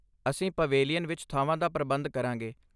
ਅਸੀਂ ਪਵੇਲੀਅਨ ਵਿੱਚ ਥਾਂਵਾਂ ਦਾ ਪ੍ਰਬੰਧ ਕਰਾਂਗੇ।